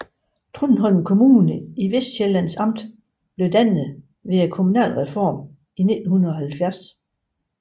Trundholm Kommune i Vestsjællands Amt blev dannet ved kommunalreformen i 1970